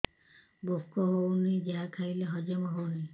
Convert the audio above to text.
ଭୋକ ହେଉନାହିଁ ଯାହା ଖାଇଲେ ହଜମ ହଉନି